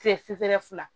Kile fere fila